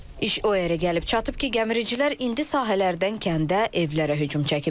İş o yerə gəlib çatıb ki, gəmiricilər indi sahələrdən kəndə, evlərə hücum çəkiblər.